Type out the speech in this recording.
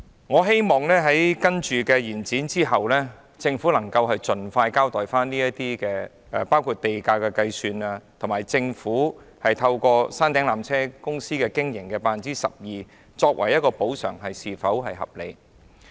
我希望在延展審議期後，政府能盡快作出交代，包括地價的計算及以山頂纜車總營運收入 12% 按年收取，是否合理的做法。